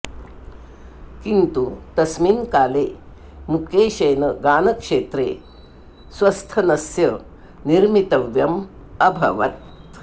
किन्तु तस्मिन् काले मुकेशेन गानक्षेत्रे स्वस्थनस्य निर्मितव्यम् अभवत्